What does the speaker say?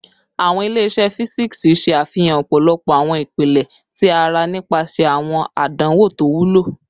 Awọn ile-iṣẹ fisiksi ṣe afihan ọpọlọpọ awọn ipilẹ ti ara nipasẹ awọn adanwo to wulo